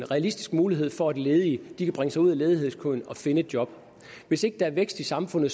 realistisk mulighed for at ledige kan bringe sig ud af ledighedskøen og finde et job hvis ikke der er vækst i samfundet